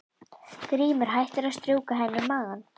Grímur hættir að strjúka henni um magann.